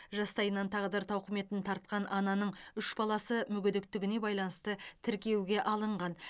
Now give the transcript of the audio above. жастайынан тағдыр тауқыметін тартқан ананың үш баласы мүгедектігіне байланысты тіркеуге алынған